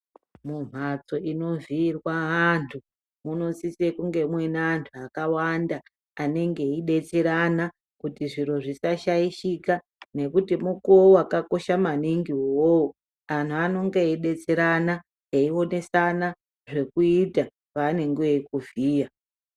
Mumbatso inovhiyirwa antu munosisa kunge muine antu akawanda anenge eidetserana kuti zviro zvisashaishika ngekuti mukuwo wakakosha maningi uwowo antu anenge eidetserana eionesana zvekuiti pavenenge veikuvhiya.